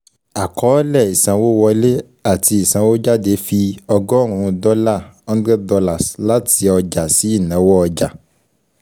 Àkọọ́lẹ̀ ìsanwówọlé ati ìsanwójáde fi ọgọ́rùn-ún dọ́là hundred dollars láti ọjà sí ìnáwó ọjà